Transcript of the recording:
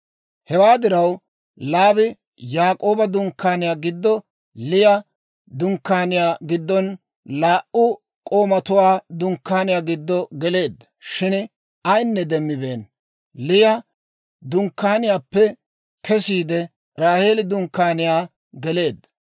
Hewaa diraw Laabi Yaak'ooba dunkkaaniyaa giddo, Liya dunkkaaniyaa giddon laa"u k'oomatuwaa dunkkaaniyaa giddo geleedda; shin ayinne demmibeenna. Liya dunkkaaniyaappe kesiide, Raaheeli dunkkaaniyaa geleedda.